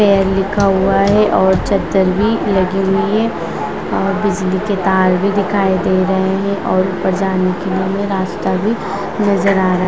fair लिखा हुआ है और चद्दर भी लगी है और बिजली के तार भी दिखाई दे रहे हैं और ऊपर जाने के लिए रास्ता भी नज़र आ रहा --